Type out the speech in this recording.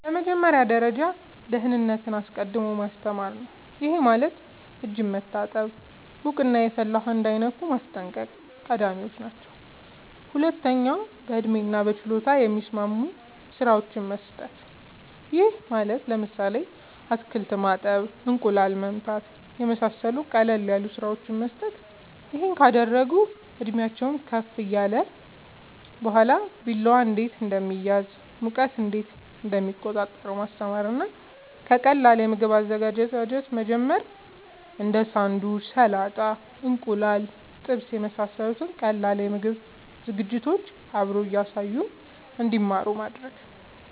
በመጀመሪያ ደረጃ ደህንነትን አስቀድሞ ማስተማር ነዉ ይሄም ማለት እጅን መታጠብ ሙቅና የፈላ ውሃ እንዳይነኩ ማስጠንቀቅ ቀዳሚወች ናቸው ሁለተኛ በእድሜና በችሎታ የሚስማሙ ስራወችን መስጠት ይሄም ማለት ለምሳሌ አትክልት ማጠብ እንቁላል መምታት የመሳሰሉት ቀለል ያሉ ስራወችን መስጠት ይሄን ካደረጉ እድሜአቸውም ከፍ ካለ በኋላ ቢላዋ እንዴት እንደሚያዝ ሙቀት እንዴት እንደሚቆጣጠሩ ማስተማር እና ከቀላል የምግብ አዘገጃጀት መጀመር እንዴ ሳንዱች ሰላጣ እንቁላል ጥብስ የመሳሰሉት ቀላል የምግብ ዝግጅቶችን አብሮ እያሳዩ እንድማሩ ማድረግ